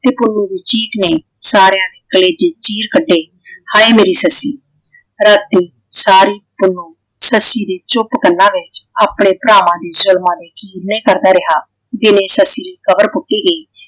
ਤੇ ਪੁੰਨੂੰ ਦੀ ਚੀਕ ਨੇ ਸਾਰਿਆਂ ਦੇ ਕਲੇਜੇ ਚੀਰ ਕੱਢੇ। ਹਾਏ ਮੇਰੀ ਸੱਸੀ ਰਾਤੀ ਸਾਰੀ ਪੁੰਨੂੰ ਸੱਸੀ ਦੇ ਚੁੱਪ ਕੰਨਾਂ ਵਿੱਚ ਆਪਣੇ ਭਰਾਵਾਂ ਦੇ ਜ਼ੁਲਮਾਂ ਦੇ ਕੀਰਨੇ ਕਰਦਾ ਰਿਹਾ। ਜਿਵੇਂ ਸੱਸੀ ਕਬਰ ਪੁੱਟੀ ਗਈ।